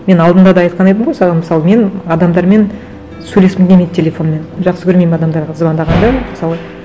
мен алдында да айтқан едім ғой саған мысалы мен адамдармен сөйлескім келмейді телефонмен жақсы көрмеймін адамдарға звондағанды мысалы